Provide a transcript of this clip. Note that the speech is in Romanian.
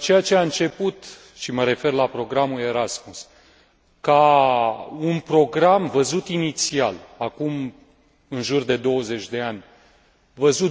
Ceea ce a început, și mă refer la programul Erasmus, ca un program văzut inițial, acum în jur de 20 de ani,